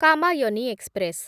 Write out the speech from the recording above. Kamayani express